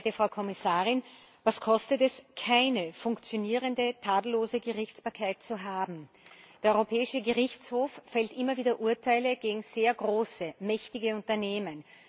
Sehr geehrte Frau Kommissarin, was kostet es, keine funktionierende, tadellose Gerichtsbarkeit zu haben? Der Europäische Gerichtshof fällt immer wieder Urteile gegen sehr große, sehr mächtige Unternehmen.